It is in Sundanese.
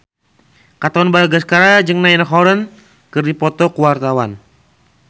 Katon Bagaskara jeung Niall Horran keur dipoto ku wartawan